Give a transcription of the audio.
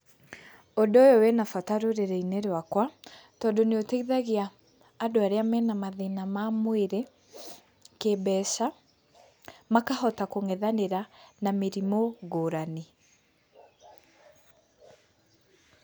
Ũndũ ũyũ wĩna bata rũrĩrĩ-inĩ rwakwa tondũ nĩũteithagia andũ arĩa mena mathĩna ma mwĩrĩ, kĩmbeca makahota kũng'ethanĩra na mĩrimũ ngũrani.